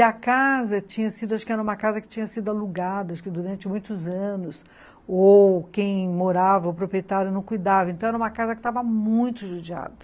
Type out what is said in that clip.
E a casa tinha sido, acho que era uma casa que tinha sido alugada, acho que durante muitos anos, ou quem morava, o proprietário não cuidava, então era uma casa que estava muito judiada.